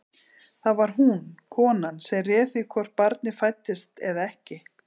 Það var hún, konan, sem réð því hvort barnið fæddist eða ekki.